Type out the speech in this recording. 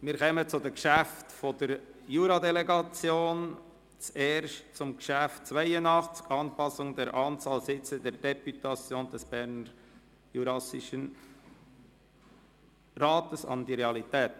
Wir kommen zu den Geschäften der Juradelegation, zuerst zum Traktandum 82, der Motion «Anpassung der Anzahl Sitze der Deputation des Berner Juras an die Realität».